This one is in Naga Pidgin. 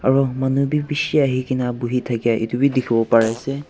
aru manu bhi bishi ahi kena bohi thakia etu bhi dikhi bo pare ase.